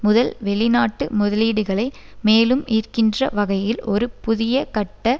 முதல் வெளிநாட்டு முதலீடுகளை மேலும் ஈர்க்கின்ற வகையில் ஒரு புதிய கட்ட